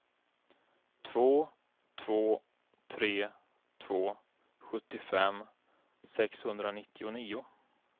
två två tre två sjuttiofem sexhundranittionio